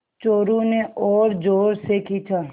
चोरु ने और ज़ोर से खींचा